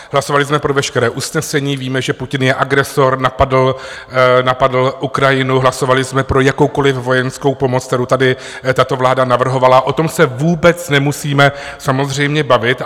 Hlasovali jsme pro veškerá usnesení, víme, že Putin je agresor, napadl Ukrajinu, hlasovali jsme pro jakoukoliv vojenskou pomoc, kterou tady tato vláda navrhovala, o tom se vůbec nemusíme samozřejmě bavit.